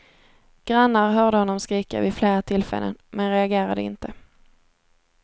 Grannar hörde honom skrika vid flera tillfällen men reagerade inte.